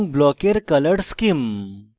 block ব্লকের কলর scheme